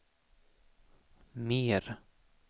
mer